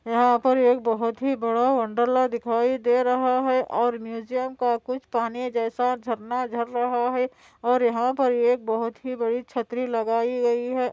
यहाँ पे एक बहुत ही बड़ा वोंडरलोव दिखाई दे रहा हैं और म्युजियम का कुछ पानी जैसा झरना झर रहा हैं और यहाँ पे एक बहुत ही बड़ी छतरी लगायी गयी हैं।